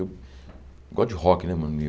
Eu gosto de rock, né, mano?